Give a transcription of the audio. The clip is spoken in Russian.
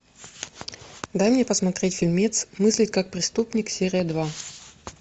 дай мне посмотреть фильмец мыслить как преступник серия два